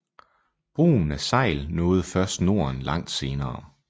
Brugen af segl nåede først Norden langt senere